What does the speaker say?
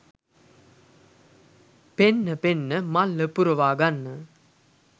පෙන්න පෙන්න මල්ල පුරවා ගන්න.